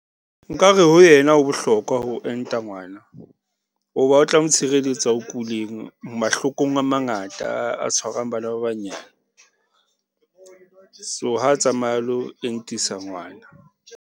Nkare ho yena ho bohlokwa ho enta ngwana, o ba o tla mo tshireletsa ho kuleng mahlokong a mangata a tshwarang bana ba banyane so ha tsamaye a lo entisa ngwana.